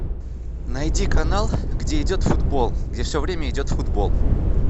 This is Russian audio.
найди канал где идет футбол где все время идет футбол